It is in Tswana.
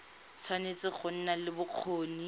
tshwanetse go nna le bokgoni